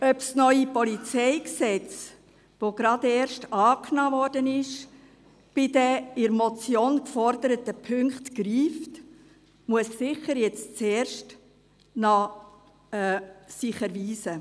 Ob das neue PolG, das gerade erst angenommen wurde, bei den in der Motion geforderten Punkten greift, muss sich nun zuerst noch erweisen.